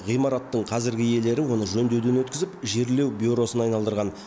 ғимараттың қазіргі иелері оны жөндеуден өткізіп жерлеу бюросына айналдырған